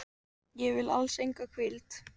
Ég vil alls enga hvíld.